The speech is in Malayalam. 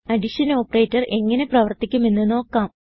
അഡിഷൻ ഓപ്പറേറ്റർ എങ്ങനെ പ്രവർത്തിക്കുമെന്ന് നോക്കാം